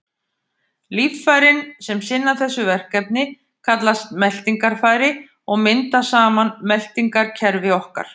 Líffærin sem sinna þessu verkefni kallast meltingarfæri og mynda saman meltingarkerfi okkar.